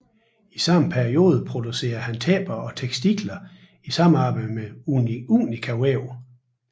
I samme periode producerede han tæpper og tekstiler i samarbejde med Unika Vaev